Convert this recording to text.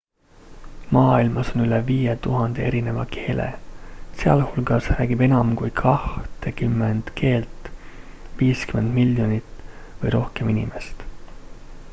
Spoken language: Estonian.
maailmas on üle 5000 erineva keele sealhulgas räägib enam kui kahtekümmend keelt 50 miljonit või rohkem inimest